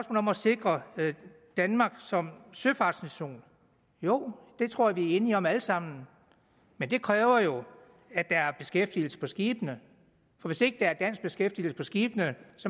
om at sikre danmark som søfartsnation jo det tror jeg vi er enige om alle sammen men det kræver jo at der er beskæftigelse på skibene for hvis ikke der er dansk beskæftigelse på skibene